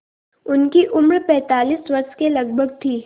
उनकी उम्र पैंतालीस वर्ष के लगभग थी